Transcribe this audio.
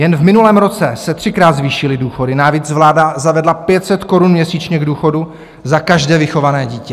Jen v minulém roce se třikrát zvýšily důchody, navíc vláda zavedla 500 korun měsíčně k důchodu za každé vychované dítě.